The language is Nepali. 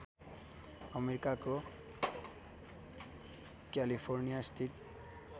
अमेरिकाको क्यालिफोर्नियास्थित